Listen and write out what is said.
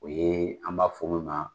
O ye an b'a fɔ min ma